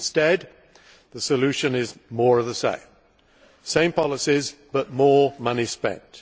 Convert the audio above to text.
Instead, the solution is more of the same the same policies, but more money spent.